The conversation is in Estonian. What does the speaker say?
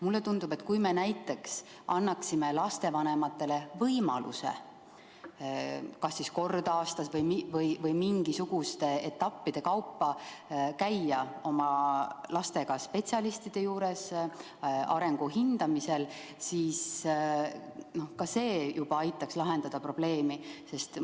Mulle tundub, et kui me näiteks annaksime lastevanematele lihtsalt võimaluse kas kord aastas või mingisuguste muude vahedega käia oma lastega spetsialistide juures arengu hindamisel, siis ka see juba aitaks probleemi lahendada.